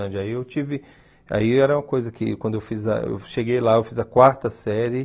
Aí eu tive... Aí era uma coisa que, quando eu fiz a eu cheguei lá, eu fiz a quarta série.